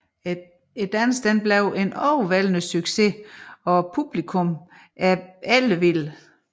Dansen bliver en overvældende succes og publikummet er ellevildt